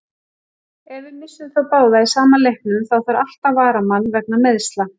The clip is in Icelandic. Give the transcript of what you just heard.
Ef við missum þá báða í sama leiknum, þá þarf alltaf varamann vegna meiðsla.